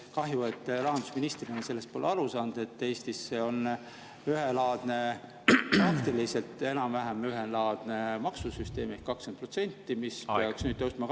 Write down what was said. Kahju, et te rahandusministrina pole aru saanud, et Eestis on ühelaadne, praktiliselt enam-vähem ühelaadne maksusüsteem ehk 20%, mis peaks nüüd tõusma 22%‑le.